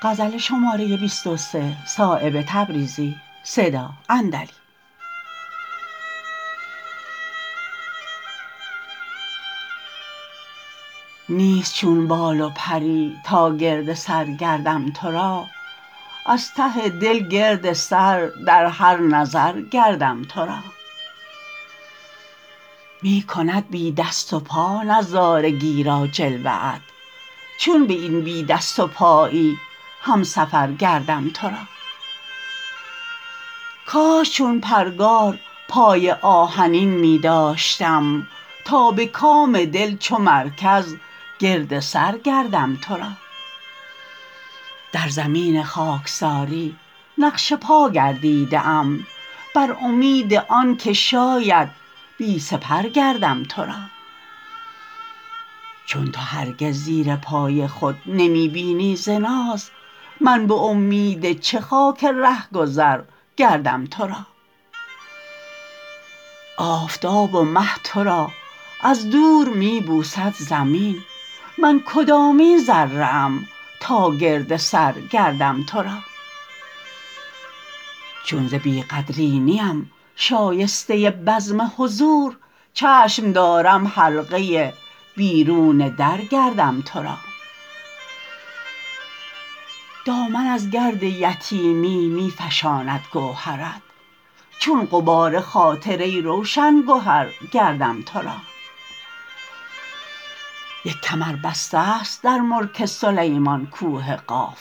نیست چون بال و پری تا گرد سر گردم تو را از ته دل گرد سر در هر نظر گردم تو را می کند بی دست و پا نظارگی را جلوه ات چون به این بی دست و پایی همسفر گردم تو را کاش چون پرگار پای آهنین می داشتم تا به کام دل چو مرکز گرد سر گردم تو را در زمین خاکساری نقش پا گردیده ام بر امید آن که شاید پی سپر گردم تو را چون تو هرگز زیر پای خود نمی بینی ز ناز من به امید چه خاک رهگذر گردم تو را آفتاب و مه تو را از دور می بوسد زمین من کدامین ذره ام تا گرد سر گردم تو را چون ز بی قدری نیم شایسته بزم حضور چشم دارم حلقه بیرون در گردم تو را دامن از گرد یتیمی می فشاند گوهرت چون غبار خاطر ای روشن گهر گردم تو را یک کمر بسته است در ملک سلیمان کوه قاف